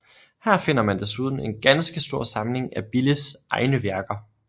Her finder man desuden en ganske stor samling af Billes egne værker